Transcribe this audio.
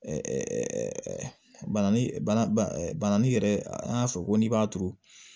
bana ni bana ni yɛrɛ an y'a fɔ ko n'i b'a turu